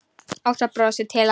Ása brosir til hans.